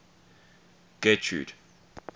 getrude